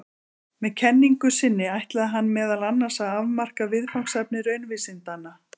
Með kenningu sinni ætlaði hann meðal annars að afmarka viðfangsefni raunvísindanna.